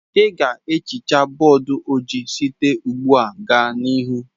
Ị ga ehicha bọdụ ojii site ugbua gaa n'ihu